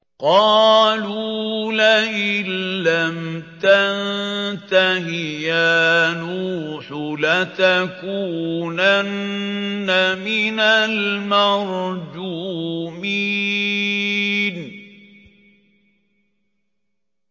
قَالُوا لَئِن لَّمْ تَنتَهِ يَا نُوحُ لَتَكُونَنَّ مِنَ الْمَرْجُومِينَ